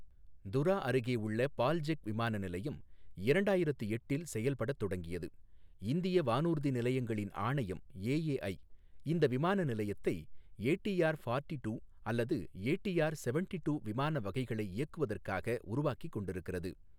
துரா அருகே உள்ள பால்ஜெக் விமான நிலையம் இரண்டாயிரத்து எட்டில் செயல்படத் தொடங்கியது இந்திய வானூர்தி நிலையங்களின் ஆணையம் ஏஏஐ இந்த விமான நிலையத்தை ஏடிஆர் ஃபார்ட்டி டூ அல்லது ஏடிஆர் செவண்டி டூ விமான வகைகளை இயக்குவதற்காக உருவாக்கிக் கொண்டிருக்கிறது.